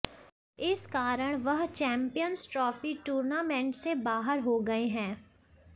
इस कारण वह चैम्पियंस ट्रॉफी टूर्नामेंट से बाहर हो गए हैं